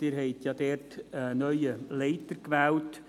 Sie haben einen neuen Leiter gewählt.